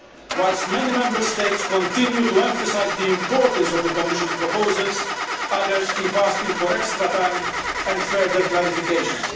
Whilst many Member States continue to emphasise the importance of the Commission's proposals, others keep asking for extra time and further clarifications.